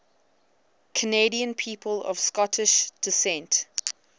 canadian people of scottish descent